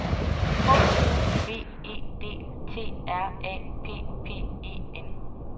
H O V E D T R A P P E N